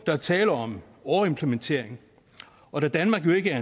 der tale om overimplementering og da danmark jo ikke er